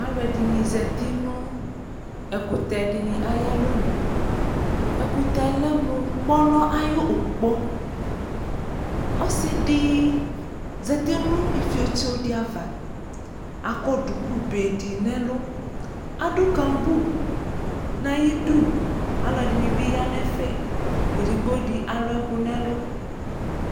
Alʋɛdɩnɩ zati nʋ ɛkʋtɛ dɩnɩ ayʋ alɔnu Ɛkʋtɛ yɛ lɛ mʋ kpɔnɔ ayʋ ʋkpɔ Ɔsɩ dɩ zati nʋ ifietso dɩ ava Akɔ dukube dɩ nʋ ɛlʋ Adʋ kambu nʋ ayidu Alʋɛdɩnɩ bɩ ya nʋ ɛfɛ Edigbo dɩ alʋ ɛkʋ nʋ ɛlʋ